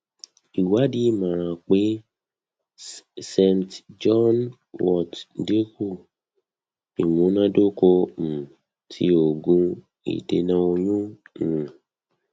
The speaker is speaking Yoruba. iwadi ṣe imọran pe st john wort dinku imunadoko um ti oogun idena oyun um